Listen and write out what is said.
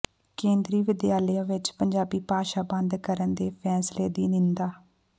ਕੇਂਦਰੀ ਵਿਦਿਆਲਿਆਂ ਵਿਚ ਪੰਜਾਬੀ ਭਾਸ਼ਾ ਬੰਦ ਕਰਨ ਦੇ ਫੈਸਲੇ ਦੀ ਨਿੰਦਾ